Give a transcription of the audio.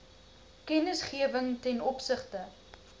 kennisgewing ten opsigte